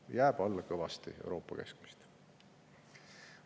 See jääb kõvasti alla Euroopa keskmist.